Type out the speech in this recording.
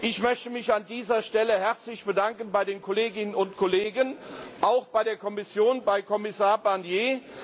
Ich möchte mich an dieser Stelle herzlich bedanken bei den Kolleginnen und Kollegen, auch bei der Kommission, bei Kommissar Barnier.